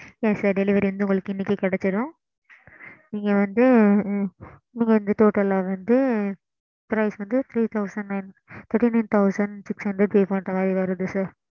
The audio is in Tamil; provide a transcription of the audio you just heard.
ok mam